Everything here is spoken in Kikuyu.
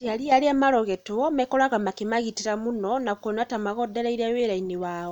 aciari a aria marogitwo mekoraga makĩmagitĩra mũno na kuona ta magondereire wĩrainĩ wao.